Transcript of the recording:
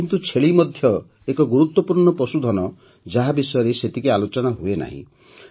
କିନ୍ତୁ ଛେଳି ମଧ୍ୟ ଏକ ଗୁରୁତ୍ୱପୂର୍ଣ୍ଣ ପଶୁଧନ ଯାହା ବିଷୟରେ ସେତିକି ଆଲୋଚନା ହୁଏ ନାହିଁ